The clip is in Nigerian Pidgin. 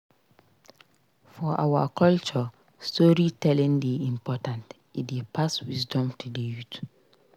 For our culture storytelling dey important; e dey pass wisdom to the youth.